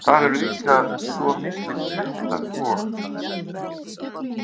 Þar eru líka svo miklir klettar og.